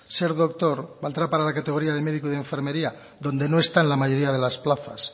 ser doctor valdrá para la categoría de médico y de enfermería donde no está la mayoría de las plazas